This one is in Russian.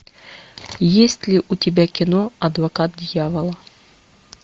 есть ли у тебя кино адвокат дьявола